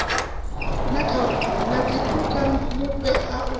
na dziphukha mufhe u a